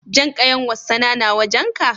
Jan ƙayan wassana na wajen ka?